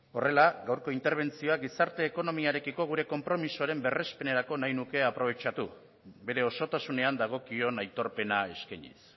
horrela gaurko interbentzioa gizarte ekonomiarekiko gure konpromisoaren berrezpenerako nahi nuke aprobetxatu bere osotasunean dagokion aitorpena eskainiz